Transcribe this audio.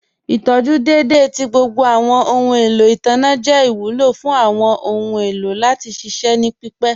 Ìtọjú dẹ́edẹ̀ tì gbogbo awọn ọhun èlò itanna jẹ́ ìwúlọ̀ fún awọn ọhun èlò láti ṣiṣẹ̀ ní pípẹ̀.